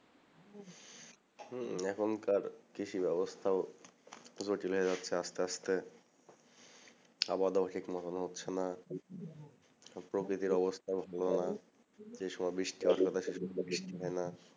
হম এখনকার কৃষি ব্যবস্থা জটিল হয়ে যাচ্ছে আস্তে আস্তে খাওয়া-দাওয়া ঠিক মতন হচ্ছে না প্রকৃতির অবস্থা ভালো না যে সমাবেশ বৃষ্টি হয় না